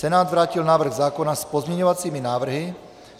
Senát vrátil návrh zákona s pozměňovacími návrhy.